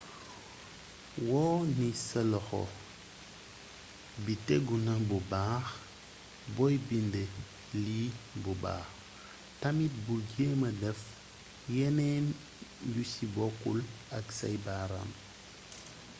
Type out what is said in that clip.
wóo ni sa loxo bi téguna bu baax booy bindee lii bu baax tamit bul jeema def yeneen yu si bokkul ak say baaraam